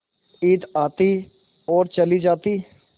ईद आती और चली जाती